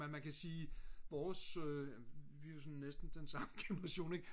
men man kan sige vores vi er jo sådan næsten den samme generation ik